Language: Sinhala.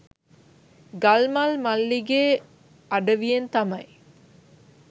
ගල්මල් මල්ලිගේ අඩවියෙන් තමයි